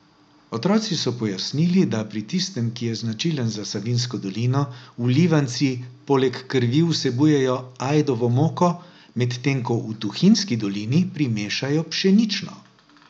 Otroci so pojasnili, da pri tistem, ki je značilen za Savinjsko dolino, vlivanci poleg krvi vsebujejo ajdovo moko, medtem ko v Tuhinjski dolini primešajo pšenično.